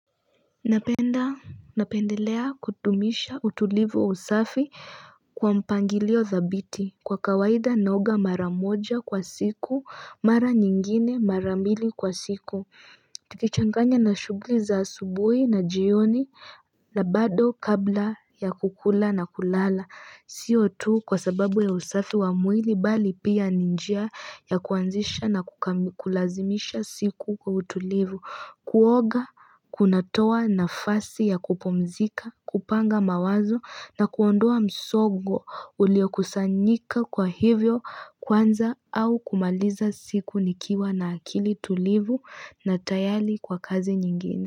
Napendelea kutumisha utulivu wa usafi kwa mpangilio dhabiti Kwa kawaida naoga mara moja kwa siku mara nyingine mara mbili kwa siku Tukichanganya na shugli za asubui na jioni la bado kabla ya kukula na kulala Sio tu kwa sababu ya usafi wa mwili bali pia ni njia ya kuanzisha na kulazimisha siku kwa utulivu Kuoga, kunatowa nafasi ya kupumzika, kupanga mawazo na kuondoa msogo ulio kusanyika kwa hivyo kwanza au kumaliza siku nikiwa na akili tulivu na tayali kwa kazi nyingine.